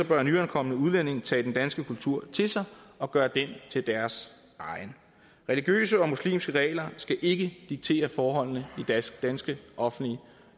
bør nyankomne udlændinge tage den danske kultur til sig og gøre den til deres religiøse eksempel muslimske regler skal ikke diktere forholdene i danske offentlige